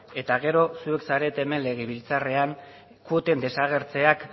eta gero zuek zarete hemen legebiltzarrean kuoten desagertzeak